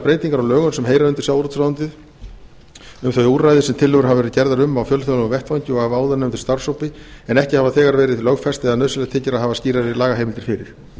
á lögum sem heyra undir sjávarútvegsráðuneytið um þau úrræði sem tillögur hafa verið gerðar um á fjölþjóðlegum vettvangi og af áðurnefndum starfshópi en ekki hafa þegar verið lögfest eða nauðsynlegt þykir að hafa skýrari lagaheimildir fyrir